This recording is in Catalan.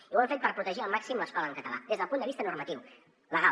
i ho hem fet per protegir al màxim l’escola en català des del punt de vista normatiu legal